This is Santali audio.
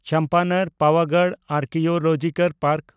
Champaner Pavagadh archaeological park